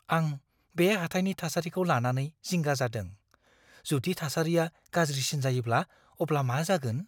आं बे हाथाइनि थासारिखौ लानानै जिंगा जादों। जुदि थासारिया गाज्रिसिन जायोब्ला अब्ला मा जागोन?